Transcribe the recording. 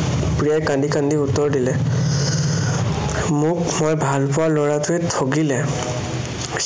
প্ৰিয়াই কান্দি কান্দি উত্তৰ দিলে, মোক মই ভালপোৱা লৰাটোৱে ঠগিলে।